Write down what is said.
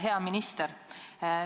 Hea minister!